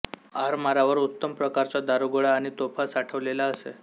आरमारावर उत्तम प्रकारचा दारूगोळा आणि तोफा साठवलेला असे